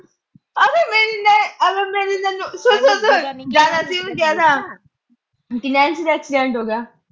ਆ ਲੈ ਮੇਰੀ ਅਹ ਆਹ ਲੈ ਮੇਰੀ ਸੁਣ ਅਹ ਸੁਣ ਅਹ ਸੁਣ। ਚਲ ਅਸੀਂ ਵੀ ਕਹਿ ਤਾਂ ਨੈਨਸੀ ਦਾ accident ਹੋ ਗਿਆ।